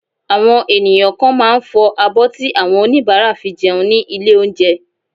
Àwọn ènìyàn kan máà ń fọ abọ́ tí àwọn oníbàárà fi jẹun ní ilé oúnjẹ.